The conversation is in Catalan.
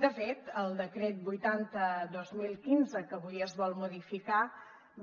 de fet el decret vuitanta dos mil quinze que avui es vol modificar